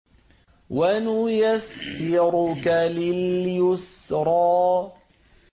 وَنُيَسِّرُكَ لِلْيُسْرَىٰ